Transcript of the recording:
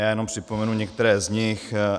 Já jenom připomenu některé z nich.